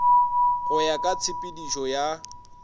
go ya ka tshepetšo ya